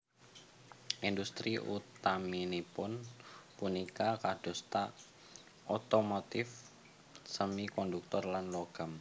Industri utaminipun punika kadosta otomotif semikonduktor lan logam